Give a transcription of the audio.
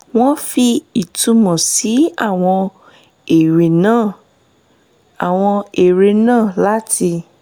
wọ́n fi ìtunmọ̀ sí àwọn eré náà àwọn eré náà láti